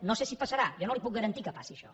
no sé si passarà jo no li puc garantir que passi això